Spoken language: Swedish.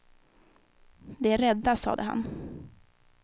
De är rädda, sade han.